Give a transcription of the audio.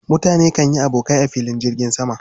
Mutane kan yi abokai a filin jirgin zama.